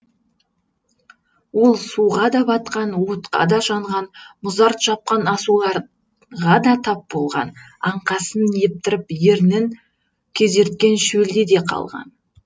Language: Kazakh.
ол суға да батқан отқа да жанған мұзарт жапқан асуларға да тап болған аңқасын кептіріп ернін кезерткен шөлде де қалған